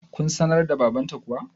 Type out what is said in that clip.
kun sanar wa babanta kuwa?